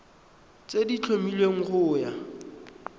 tse di tlhomilweng go ya